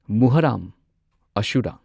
Muharram ꯑꯁꯨꯔꯥ